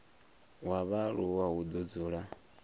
wa vhaaluwa hu do dzula